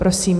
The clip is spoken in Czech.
Prosím.